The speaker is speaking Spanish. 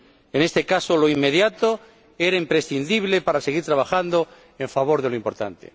En este caso, lo inmediato era imprescindible para seguir trabajando en favor de lo importante.